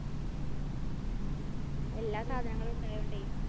എല്ലാ സാധനങ്ങളും ഉണ്ടായോണ്ടേ.